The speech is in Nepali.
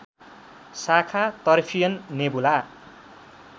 शाखा तर्फियन नेबुला